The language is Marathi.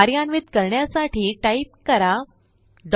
कार्यान्वित करण्यासाठी टाईप करा incr